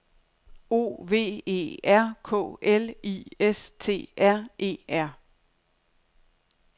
O V E R K L I S T R E R